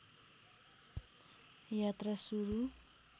यात्रा सुरु